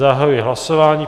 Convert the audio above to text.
Zahajuji hlasování.